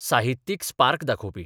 साहित्यीक 'स्पार्क 'दाखोवपी.